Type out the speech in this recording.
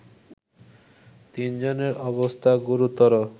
তিনজনের অবস্থা গুরুতর